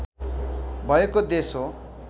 भएको देश हो